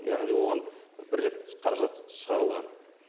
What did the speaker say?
яғни оған бір рет қаражат шығарылған